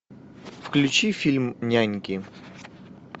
включи фильм няньки